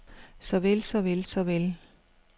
såvel såvel såvel